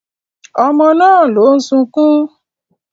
Ọmọ náà ló ń sunkún